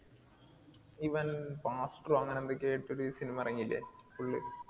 ഇവൻ pastor ഓ അങ്ങിനെ എന്തൊക്കെയോ ആയിട്ടൊരു cinema എറങ്ങീലെ? full